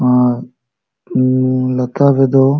ᱟᱨ ᱩ ᱞᱟᱛᱟᱨ ᱨᱮ ᱰᱚ --